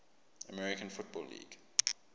american football league